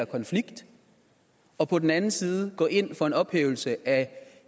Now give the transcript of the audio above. konflikt og på den anden side gå ind for en ophævelse af